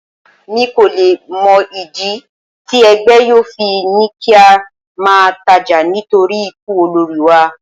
Mi kò le mọ ìdí tí ẹgbẹ́ yóò fi ní kí á máa tajà nítorí ikú olórí wa.